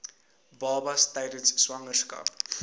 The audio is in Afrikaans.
babas tydens swangerskap